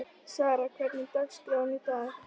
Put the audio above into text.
Sara, hvernig er dagskráin í dag?